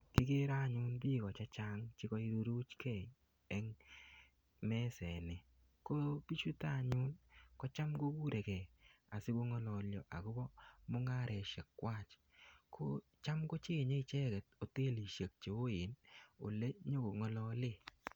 Kikere anyun biiko chechang chekairuruchkei eng meset ni. Ko bichuto anyun kocham kokurekey asikong'alalio akobo mung'aresiek kwach. Kocham kocheng'e ichek hotelisiek che oen ole nyikong'alale.